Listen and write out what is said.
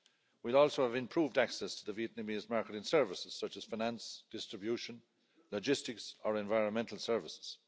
We will also have improved access to the Vietnamese market in services, such as finance, distribution, logistics or environmental services.